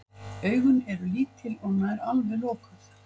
Augun eru lítil og nær alveg lokuð.